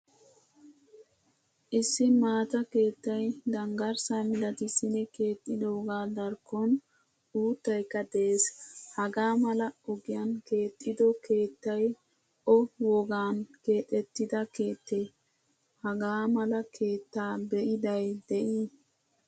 Issi maataa keettay danggarssa milattisidi keexxidogaa darkkon uuttaykka de'ees. Hagaa mala ogiyan keexido keettay o wogaan keexettida keette? Hagaa mala keetta be'iday de'i?